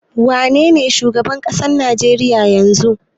Wanene shugaban ƙasar Najeriya yanzu?